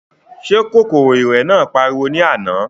Ṣé kòkòrò ìrẹ̀ náà pariwo ní àná?